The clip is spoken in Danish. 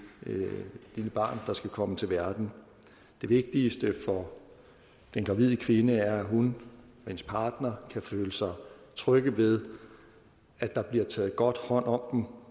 lille barn der skal komme til verden det vigtigste for den gravide kvinde er at hun og hendes partner kan føle sig trygge ved at der bliver taget godt hånd om